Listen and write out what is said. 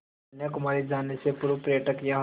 कन्याकुमारी जाने से पूर्व पर्यटक यहाँ